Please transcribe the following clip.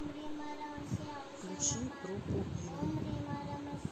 включи группу ил